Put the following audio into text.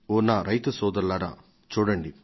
అయితే ఈ రైతు సోదరుల వివేకాన్ని చూడండి